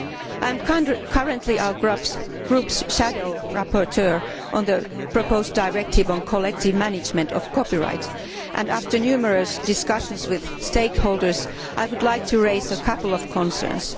I am currently our group's shadow rapporteur on the proposed directive on collective management of copyright, and after numerous discussions with stakeholders, I would like to raise a couple of concerns.